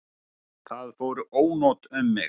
Það fóru ónot um mig.